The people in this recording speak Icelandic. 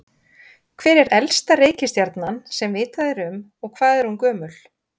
hver er elsta reikistjarnan sem vitað er um og hvað er hún gömul